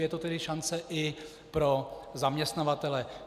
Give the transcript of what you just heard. Je to tedy šance i pro zaměstnavatele.